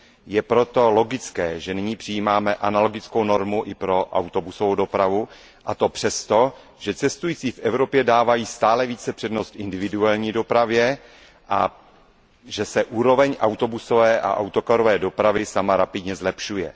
Je proto logické, že nyní přijímáme analogickou normu i pro autobusovou dopravu, a to přesto, že cestující v Evropě dávají stále více přednost individuální dopravě a že se úroveň autobusové a autokarové dopravy sama rapidně zlepšuje.